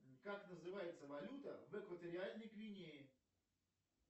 как называется валюта в экваториальной гвинее